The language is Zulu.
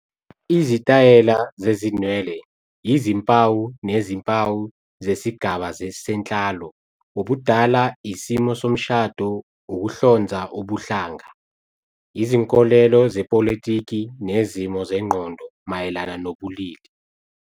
Izitayela zezinwele yizimpawu nezimpawu zesigaba senhlalo, ubudala, isimo somshado, ukuhlonza ubuhlanga, izinkolelo zepolitiki, nezimo zengqondo mayelana nobulili.